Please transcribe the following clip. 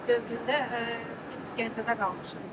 İşğal dövründə biz Gəncədə qalmışıq.